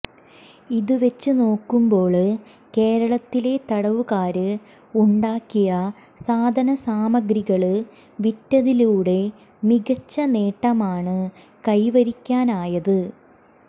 ഇത് വെച്ചുനോക്കുമ്പോള് കേരളത്തിലെ തടവുകാര് ഉണ്ടാക്കിയ സാധനസാമഗ്രികള് വിറ്റതിലൂടെ മികച്ച നേട്ടമാണ് കൈവരിക്കാനായത്